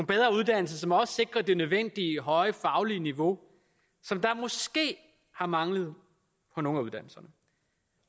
bedre uddannelser som også sikrer det nødvendige høje faglige niveau som måske har manglet på nogle af uddannelserne